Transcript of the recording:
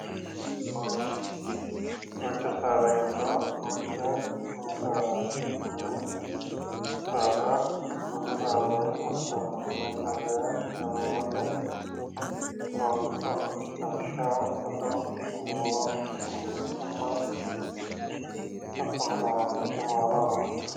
Duucha saada giddo mitte mini saadaati. Mini saada dubbu saadanni baxxitannohu mini saada sagalimmate horoonsi'nanni. Lawishshaho ado, buuro, burbuxxonna hattono qaamattote maala horoonsi'nanni.